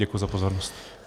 Děkuji za pozornost.